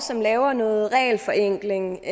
som laver noget regelforenkling